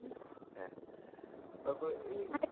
হ্যাঁ তারপরে এই,